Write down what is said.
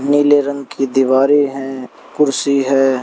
नीले रंग की दीवारें हैं कुर्सी है।